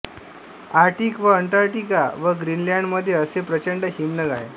Arctic व Antarctica व ग्रीनलॅंडमध्ये असे प्रचंड् हिमनग आहे